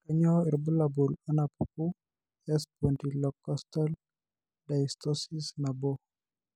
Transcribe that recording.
Kainyio irbulabul onaapuku eSpondylocostal dysostosis nabo?